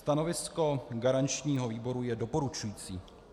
Stanovisko garančního výboru je doporučující.